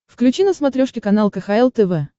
включи на смотрешке канал кхл тв